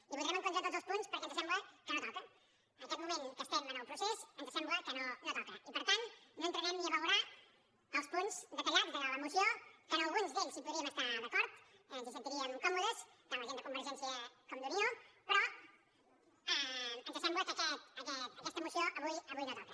i votarem en contra de tots els punts perquè ens sembla que no toca en aquest moment que estem del procés ens sembla que no toca i per tant no entrarem ni a valorar els punts detallats de la moció que en alguns d’ells hi podríem estar d’acord ens hi sentiríem còmodes tant la gent de convergència com d’unió però ens sembla que aquesta moció avui no toca